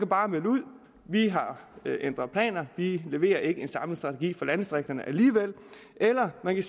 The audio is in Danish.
bare melde ud vi har ændret planer vi leverer ikke en samlet strategi for landdistrikterne alligevel eller man